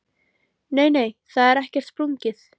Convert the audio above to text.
Nei, nei, það er ekkert sprungið.